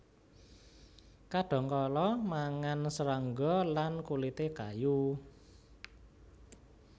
Kadhangkala mangan serangga lan kulité kayu